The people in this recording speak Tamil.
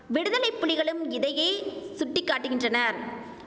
விடுதலைப்புலிகளும் இதையே சுட்டி காட்டுகின்றனர்